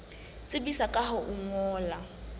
tsebisa ka ho o ngolla